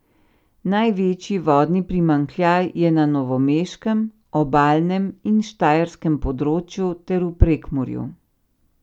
Največji vodni primanjkljaj je na novomeškem, obalnem in štajerskem področju ter v Prekmurju.